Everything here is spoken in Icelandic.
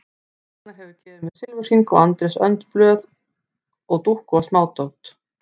Agnar hefur gefið mér silfurhring og Andrés önd blöð og dúkku og smádót.